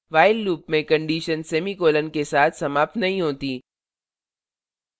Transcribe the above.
while loop में condition semicolon के साथ समाप्त नहीं होती